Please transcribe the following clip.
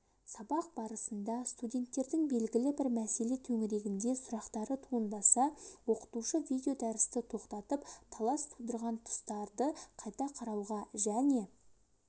сабақ барысында студенттердің белгілі бір мәселе төңірегінде сұрақтары туындаса оқытушы видеодәрісті тоқтатып талас тудырған тұстарды қайта қарауға және